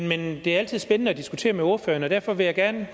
men det er altid spændende at diskutere med ordføreren og derfor vil jeg gerne